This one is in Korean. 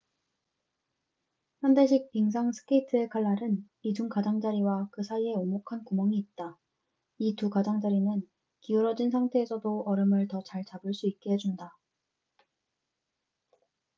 현대식 빙상 스케이트의 칼날은 이중 가장자리와 그 사이에 오목한 구멍이 있다 이 두 가장자리는 기울어진 상태에서도 얼음을 더 잘 잡을 수 있게 해준다